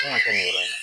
Kan ka kɛ nin yɔrɔ in na